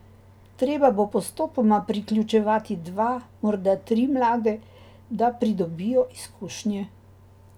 Treba bo postopoma priključevati dva, morda tri mlade, da pridobijo izkušnje.